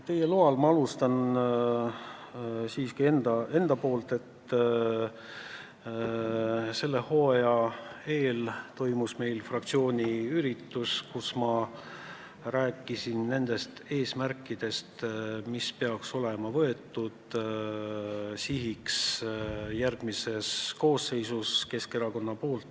Teie loal ma alustan siiski infoga, et selle hooaja eel toimus meil fraktsiooni üritus, kus ma rääkisin eesmärkidest, mis peaks olema Keskerakonnas järgmises koosseisus sihiks seatud.